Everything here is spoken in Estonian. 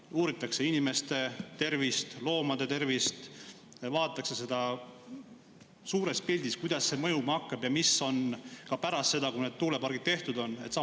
Kas uuritakse inimeste tervist, loomade tervist, vaadatakse seda suures pildis, kuidas see mõjuma hakkab ja mis on pärast seda, kui need tuulepargid tehtud on?